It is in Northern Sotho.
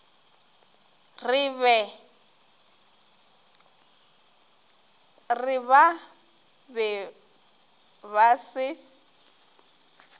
re ba be ba se